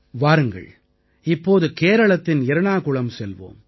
வாருங்கள் இப்போது கேரளத்தின் எர்ணாகுளம் செல்வோம்